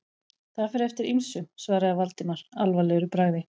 Það fer eftir ýmsu- svaraði Valdimar alvarlegur í bragði.